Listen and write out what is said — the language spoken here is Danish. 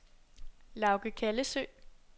Lauge Kallesøe